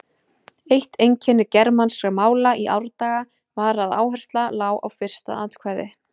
Eitt einkenni germanskra mála í árdaga var að áhersla lá á fyrsta atkvæði.